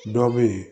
Dɔ be ye